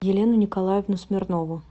елену николаевну смирнову